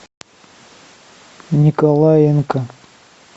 николаенко